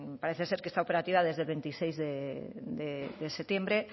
parece ser que está operativa desde el veintiséis de septiembre